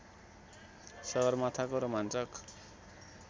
सगरमाथाको रोमाञ्चक